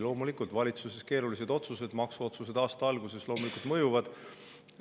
Loomulikult, valitsuse keerulised otsused, ka maksuotsused aasta alguses mõjuvad.